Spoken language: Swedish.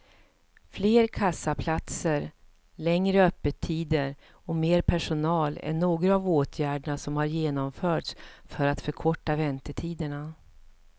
Fler kassaplatser, längre öppettider och mer personal är några av åtgärderna som har genomförts för att förkorta väntetiderna.